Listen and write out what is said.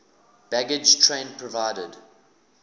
baggage train provided